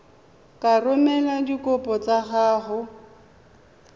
ka romela dikopo tsa gago